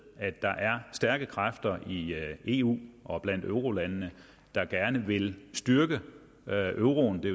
at der er stærke kræfter i eu og blandt eurolandene der gerne vil styrke euroen det